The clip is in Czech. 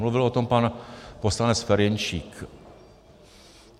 Mluvil o tom pan poslanec Ferjenčík.